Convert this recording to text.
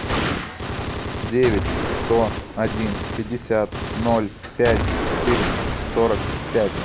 девять сто один пятьдесят ноль пять четыреста сорок пять